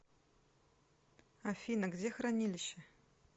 афина где хранилище